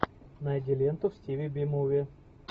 найди ленту в стиле би муви